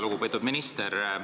Väga lugupeetud minister!